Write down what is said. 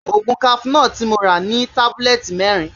Ògùn cafenor tí mo rà ní tébúlẹ́ẹ̀tì mẹ́rin